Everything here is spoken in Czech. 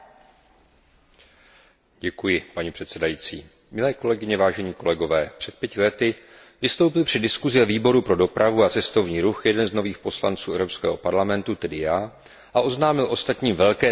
Milé kolegyně, vážení kolegové, před pěti lety vystoupil při diskuzi ve Výboru pro dopravu a cestovní ruch jeden z nových poslanců Evropského parlamentu, tedy já, a oznámil ostatním velké tajemství nejdelší řekou Evropské unie je Dunaj.